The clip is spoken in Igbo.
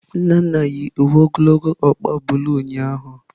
Nnanna yi uwe ogologo ọkpa bulu ụnyahụ.